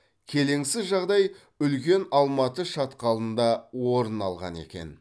келеңсіз жағдай үлкен алматы шатқалында орын алған екен